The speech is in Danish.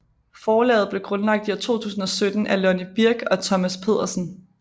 Forlaget blev grundlagt i 2017 af Lonni Birch og Thomas Pedersen